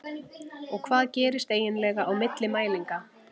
Og hvað gerist eiginlega á milli mælinga?